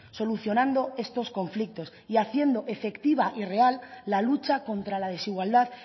solucionando estos conflictos y haciendo efectivas y real la lucha contra la desigualdad